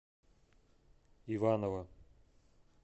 иваново